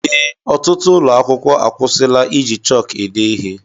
Ee, ọtụtụ ụlọ akwụkwọ akwusila iji chọk ede ihe